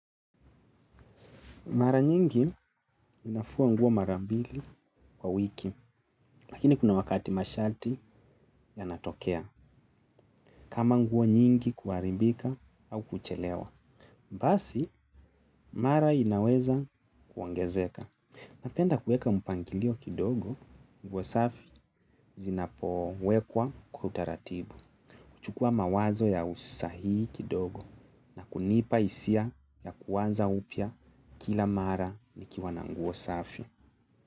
Mara nyingi, ninafua nguo mara mbili kwa wiki. Lakini kuna wakati masharti yanatokea. Kama nguo nyingi kuharibika au kuchelewa. Basi, mara inaweza kuongezeka. Napenda kuweka mpangilio kidogo, nguo safi zinapowekwa kwa utaratibu. Chukua mawazo ya usahii kidogo na kunipa hisia ya kuanza upya kila mara nikiwa na nguo safi.